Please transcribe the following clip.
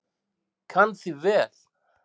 Kann því vel.